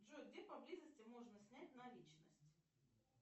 джой где поблизости можно снять наличность